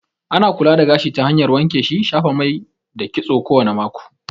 Ana kula da gashi ta hanyar wanke shi, shafa mai da kitso kowane mako